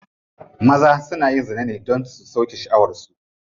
Maza na yin zina ne don su sauke sha'awar su.